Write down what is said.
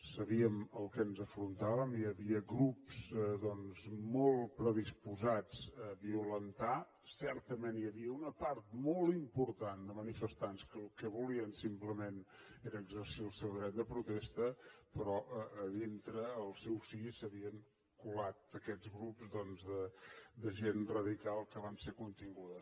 sabíem a què ens enfrontàvem hi havia grups doncs molt predisposats a violentar certament hi havia una part molt important de manifestants que el que volien simplement era exercir el seu dret de protesta però a dintre al seu si s’havien colat aquests grups doncs de gent radical que van ser continguts